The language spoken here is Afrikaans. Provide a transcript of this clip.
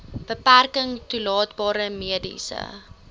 beperking toelaatbare mediese